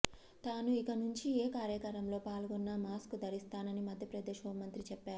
తాను ఇకనుంచి ఏ కార్యక్రమంలో పాల్గొన్న మాస్క్ ధరిస్తానని మధ్యప్రదేశ్ హోం మంత్రి చెప్పారు